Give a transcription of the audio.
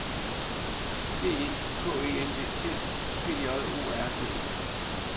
B E K E N D T G J O R D E